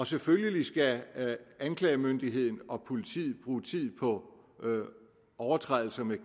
selvfølgelig skal anklagemyndigheden og politiet bruge tid på overtrædelser med